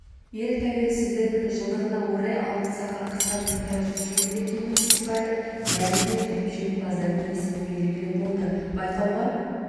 ел тәуелсіздігінің жылдығына орай алтын сақа қысқаметражды фильмдер кинофестивалі мәресіне жетіп жеңімпаздардың есімі белгілі болды байқауға